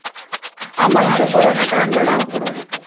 ஆமா இந்த corona time ல